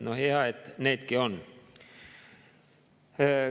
No hea, et needki on.